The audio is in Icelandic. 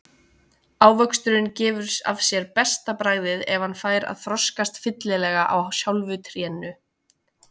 Ávöxturinn gefur af sér besta bragðið ef hann fær að þroskast fyllilega á sjálfu trénu.